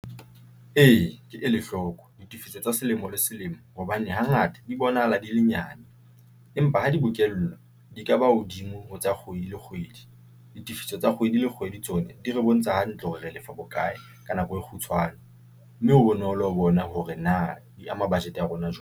Ee, ke ele hloko ditefiso tsa selemo le selemo hobane hangata di bonahala di le nyane empa ha di bokellwa di ka ba hodimo ho tsa kgwedi le kgwedi. Ditifiso tsa kgwedi le kgwedi tsona di re bontsha hantle hore re lefa bokae ka nako e kgutshwane mme ho bonolo ho bona hore na di ama budget ya rona jwalo.